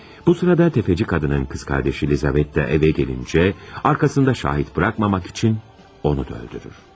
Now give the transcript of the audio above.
Bu zaman sələmçi qadının bacısı Lizavetta evə gəlincə, arxasında şahid buraxmamaq üçün onu da öldürür.